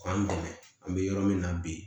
K'an dɛmɛ an bɛ yɔrɔ min na bi